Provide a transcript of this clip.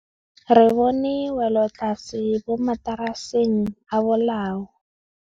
Re bone wêlôtlasê mo mataraseng a bolaô.